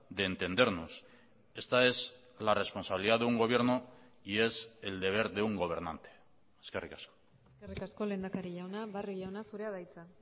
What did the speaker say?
de entendernos esta es la responsabilidad de un gobierno y es el deber de un gobernante eskerrik asko eskerrik asko lehendakari jauna barrio jauna zurea da hitza